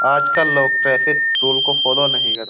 आजकल लोग traffic rule को फॉलो नहीं करते।